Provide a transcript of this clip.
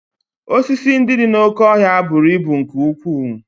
Osisi ndị dị n'oké ọhịa buru ibu nke ukwuu